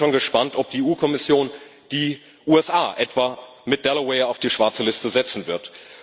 Ich bin schon gespannt, ob die EU Kommission die USA etwa mit Delaware auf die schwarze Liste setzen wird.